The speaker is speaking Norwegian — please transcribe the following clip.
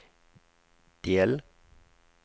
del